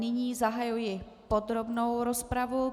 Nyní zahajuji podrobnou rozpravu.